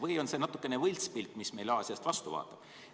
Või on see natukene võlts pilt, mis meile Aasiast vastu vaatab?